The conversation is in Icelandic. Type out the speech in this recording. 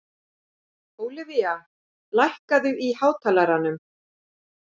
Ólivía, lækkaðu í hátalaranum.